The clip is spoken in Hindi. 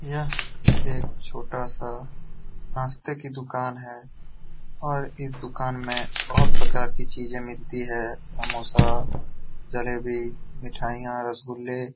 यह एक छोटा सा नास्ते की दुकान है और इस दुकान में बोहोत प्रकार चीजें मिलती है। समोसा जलेबी मिठाईयां रसगुल्ले।